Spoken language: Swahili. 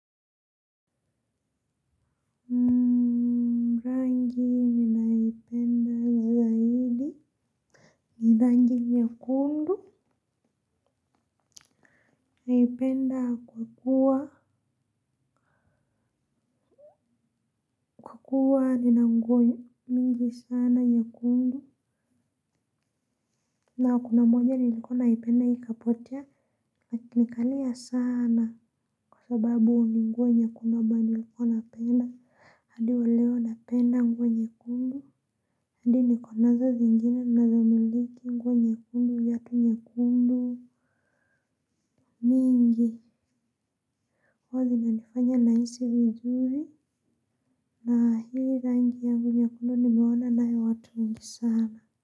Rangi nyekundu naipenda kwa kuwa kuwa nina nguo nyingi sana nyekundu na kuna moja nilikuwa naipenda ikapotea nikalia sana kwa sababu ni nguo nyekundu ambayo nilikuwa napenda hadi waleo napenda nguo nyekundu hadi nikonazo zingine nazo miliki nguo nyekundu viatu nyekundu mingi huwa zina nifanya na hisi vizuri na hii rangi yangu nyekundu nimeona naye watu wengi sana.